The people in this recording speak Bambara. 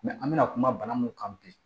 an bɛna kuma bana mun kan bi